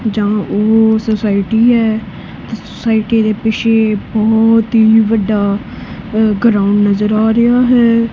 ਜਾਂ ਉਹ ਸੋਸਾਇਟੀ ਹੈ ਸੋਸਾਇਟੀ ਦੇ ਪਿੱਛੇ ਬਹੁਤ ਹੀ ਵੱਡਾ ਗਰਾਊਂਡ ਨਜ਼ਰ ਆ ਰਿਹਾ ਹੈ।